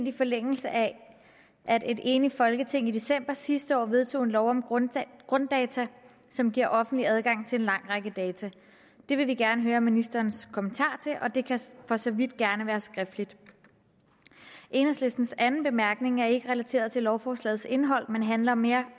i forlængelse af at et enigt folketing i december sidste år vedtog en lov om grunddata grunddata som giver offentlig adgang til en lang række data det vil vi gerne høre ministerens kommentar til og det kan for så vidt gerne være skriftligt enhedslistens anden bemærkning er ikke relateret til lovforslagets indhold men handler mere